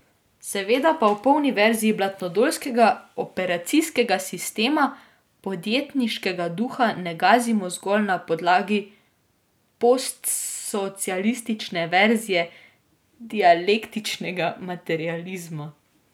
Seveda pa v polni verziji blatnodolskega operacijskega sistema podjetniškega duha ne gazimo zgolj na podlagi postsocialistične verzije dialektičnega materializma.